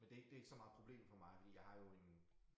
Men det ikke det ikke så meget problem for mig fordi jeg har jo en